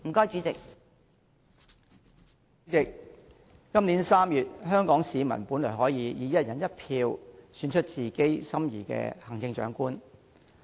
主席，今年3月香港市民本來可以經由"一人一票"，選出自己心儀的行政長官。